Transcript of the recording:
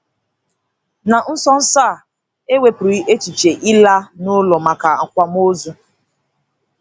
Na nso nso a, e wepụrụ echiche ịla n'ụlọ maka akwamozu.